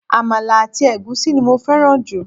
Àmàlà àti ègúsí ni mo féràn jù